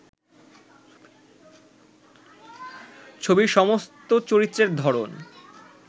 ছবির সমস্ত চরিত্রের ধরন